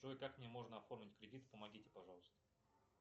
джой как мне можно оформить кредит помогите пожалуйста